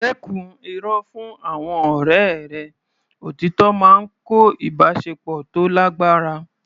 Dẹ́kun irọ́ fún àwọn ọ̀rẹ́ rẹ; Òtítọ́ máa ń kọ́ ìbáṣepọ̀ tó lágbára.